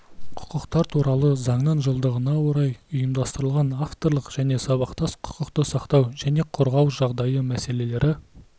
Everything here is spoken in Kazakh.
құқықтар туралы заңның жылдығына орай ұйымдастырылған авторлық және сабақтас құқықты сақтау және қорғау жағдайы мәселелері